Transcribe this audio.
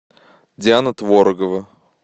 диана творогова